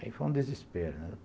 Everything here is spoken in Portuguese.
Aí foi um desespero, né?